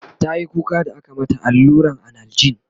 tayi kuka da aka mata alluran analjin